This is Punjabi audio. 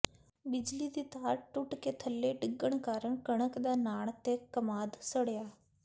ਬਿਜਲੀ ਦੀ ਤਾਰ ਟੁੱਟ ਕੇ ਥੱਲੇ ਡਿਗਣ ਕਾਰਨ ਕਣਕ ਦਾ ਨਾੜ ਤੇ ਕਮਾਦ ਸੜਿਆ